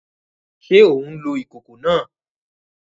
Ṣe o ǹ lo ìkòkò náà?